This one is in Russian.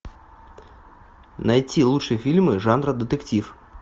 найти лучшие фильмы жанра детектив